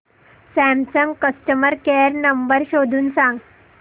Samsung customer care number शोधून सांग